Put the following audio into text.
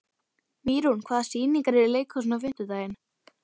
Mýrún, hvaða sýningar eru í leikhúsinu á fimmtudaginn?